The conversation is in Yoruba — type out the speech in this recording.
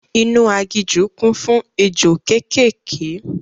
Inú agijù kún fún ejò kékèké